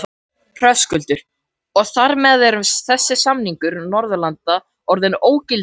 Höskuldur: Og þar með er þessi samningur Norðurlanda orðinn ógildur?